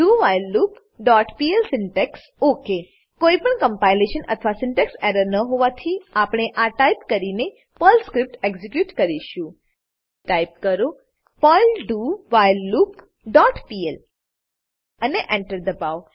dowhileloopપીએલ syntax okay કોઈપણ compilation અથવા syntax error ન હોવાથી આપણે આ ટાઈપ કરીને પર્લ સ્ક્રીપ્ટ એક્ઝીક્યુટ કરીશું ટાઈપ કરો પર્લ ડોવ્હાઇલલૂપ ડોટ પીએલ અને Enter એન્ટર દબાવો